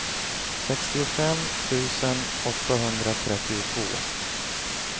sextiofem tusen åttahundratrettiotvå